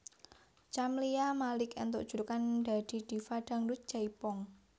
Camlia Malik entuk julukan dadi Diva Dangdut Jaipong